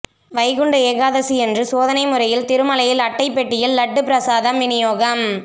வைகுண்ட ஏகாதசியன்று சோதனை முறையில் திருமலையில் அட்டை பெட்டியில் லட்டு பிரசாதம் வினியோகம்